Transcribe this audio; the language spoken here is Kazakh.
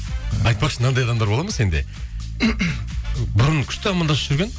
айтпақшы мынандай адамдар болады ма сенде бұрын күшті амандасып жүрген